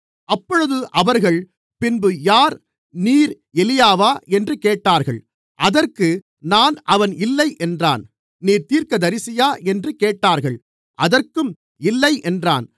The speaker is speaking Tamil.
அப்பொழுது அவர்கள் பின்பு யார் நீர் எலியாவா என்று கேட்டார்கள் அதற்கு நான் அவன் இல்லை என்றான் நீர் தீர்க்கதரிசியா என்று கேட்டார்கள் அதற்கும் இல்லை என்றான்